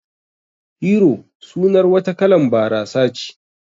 Hero sunar wata kalan barasa ce